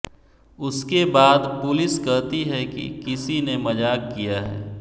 उसके बाद पुलिस कहती है कि किसी ने मज़ाक किया है